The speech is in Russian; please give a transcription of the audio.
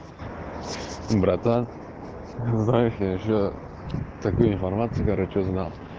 братан отправь ещё такую информацию короче узнал